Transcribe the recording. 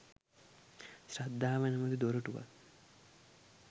ශ්‍රද්ධාව නමැති දොරටුවත්